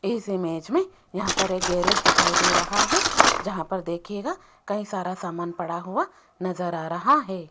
इस इमेज में यहां पर है गेराज दिखाई दे रहा है जहां पर देखीगा कहीं सारा सामान पड़ा हुआ नजर आ रहा है।